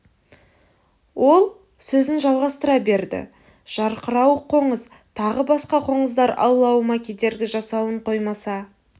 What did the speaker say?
ол сөзін жалғастыра берді жарқырауық қоңыз тағы басқа қоңыздар аулауыма кедергі жасауын қоймаса